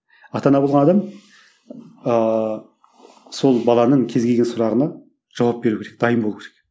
ата ана болған адам ыыы сол баланың кез келген сұрағына жауап беру керек дайын болу керек